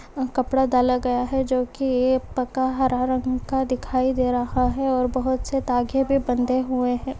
कपड़ा डाला गया हैं जोकि ये पक्का हरा रंग का दिखाई दे रहा हैं और बहोत से धागे भी बंधे हुए हैं।